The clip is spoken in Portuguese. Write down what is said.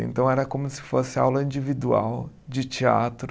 Então era como se fosse aula individual de teatro.